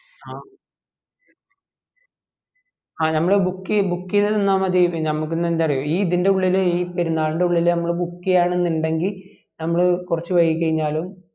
ആ ആ നമ്മള് book ചെയ്ത് book ചെയ്ത് തന്നാ മതി പിന്നാ നമ്മക്ക് എന്താന്ന് അറിയോ ഇതിൻ്റെ ഉള്ളിൽ ഈ പെരുന്നാളിൻ്റെ ഉള്ളിൽ നമ്മള് book ചെയാന് ഇന്ടെങ്കിൽ ഞമ്മള് കൊറച് വൈകി കയ്ഞാലും